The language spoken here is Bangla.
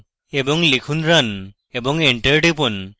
এবং লিখুন run এবং এন্টার টিপুন